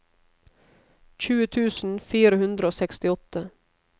tjue tusen fire hundre og sekstiåtte